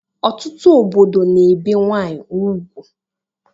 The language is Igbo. Ọtụtụ obodo na-ebe nwanyị ugwu